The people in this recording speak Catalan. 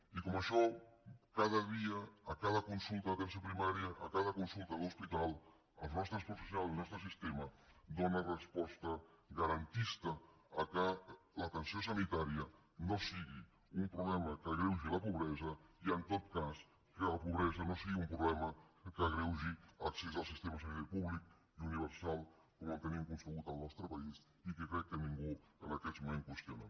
i com això cada dia a cada consulta d’atenció primària a cada consulta d’hospital els nostres professionals i el nostre sistema donen resposta garantista que l’atenció sanitària no sigui un problema que agreugi la pobresa i en tot cas que la pobresa no sigui un problema que agreugi l’accés al sistema sanitari públic i universal com el tenim concebut al nostre país i que crec que ningú en aquests moments qüestiona